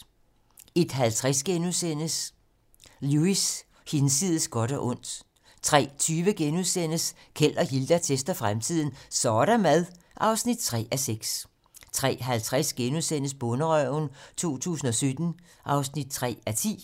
01:50: Lewis: Hinsides godt og ondt * 03:20: Keld og Hilda tester fremtiden - Så' der mad! (3:6)* 03:50: Bonderøven 2017 (3:10)* 04:20: Togulykken (Afs. 2)*